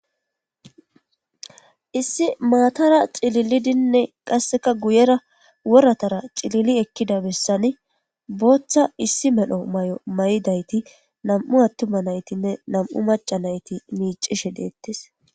Issi maatara xcililidinne qasseka guyera woratara cilili ekkida bessani booththa issi medho may'o may'dayti nam'u attuma naytinne nam'u maca nayti miicishe deettes.